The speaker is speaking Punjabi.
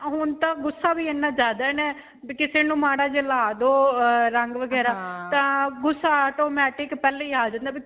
ਹੁਣ ਤਾਂ ਗੁੱਸਾ ਵੀ ਇੰਨਾ ਜਿਆਦਾ ਹੈ ਕਿਸੇ ਨੂੰ ਮਾੜਾ ਜਿਹਾ ਲਾ ਦੋ ਰੰਗ ਵਗੈਰਾ ਤਾਂ ਗੁੱਸਾ automatic ਪਹਿਲਾਂ ਹੀ ਆ ਜਾਂਦਾ ਹੈ.